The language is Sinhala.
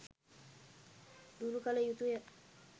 දුරු කළ යුතුය.